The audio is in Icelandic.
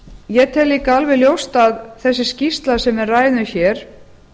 ég tel líka alveg ljóst að þessi skýrsla sem við ræðum hér